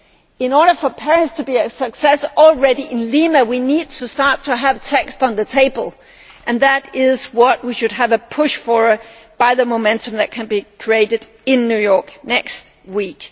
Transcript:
In order for Paris to be a success, already in Lima we need to start to have text on the table and that is what we should push for with the momentum that can be created in New York next week.